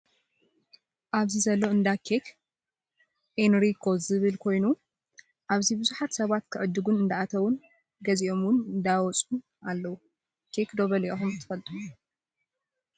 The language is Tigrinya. ኣብዚ ዘሎ እንዳ ኬክ ኤንሪኮ ዝብል ኮይኑ ኣብዚ ብዙሓት ሰባት ክዕድጉ እንዳኣተውን ገዚኦም እውን እንዳወፁን ኣለው። ኬክ ዶ በሊዕኩም ትፈልጡ ?